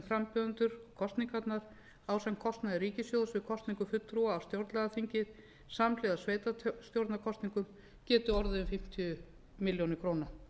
frambjóðendur og kosningarnar ásamt kostnaði ríkissjóðs við kosningu fulltrúa á stjórnlagaþingi samhliða sveitarstjórnarkosningum geti orðið um fimmtíu milljónir króna